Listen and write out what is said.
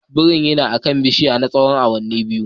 Birin yana akan bishiyar na tsawon awanni biyu.